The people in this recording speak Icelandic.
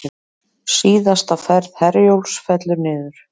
Síðasta ferð Herjólfs fellur niður